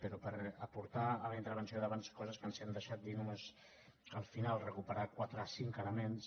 però per aportar a la intervenció d’abans coses que ens hem deixat dir només al final recuperar quatre cinc elements